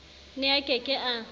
ne a ke ke a